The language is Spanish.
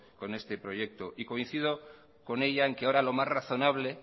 con este proyecto y coincido con ella en que ahora lo más razonable